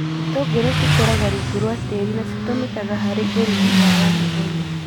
Itũngũrũ cikũraga rũngũ rwa tĩĩrĩ na citũmikaga harĩ ũrugi wa o mũthenya.